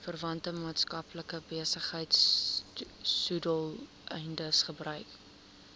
verwante maatskappybesigheidsdoeleindes gebruik